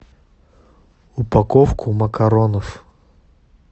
упаковку макаронов